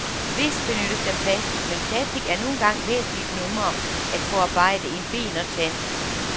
Vist benyttes der plastic, men plastic er nu engang væsentligt nemmere at forarbejde end ben og tand.